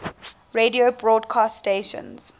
radio broadcast stations